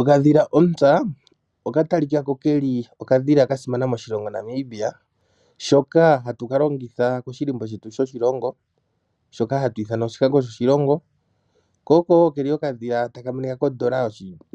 Okadhila ontsa oka talikako keli okadhila kasimana moshilongo Namibia shoka hatu ka longitha koshilimbo shetu shoshilongo shoka hatu ithana oshikango shoshilongo ko oko keli okadhila taka monika kondoola